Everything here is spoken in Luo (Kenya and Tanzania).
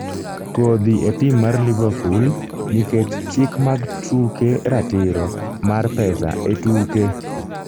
kodhi e tim mar liverpool nikech chik mag tuke ratiro mar pesa etuke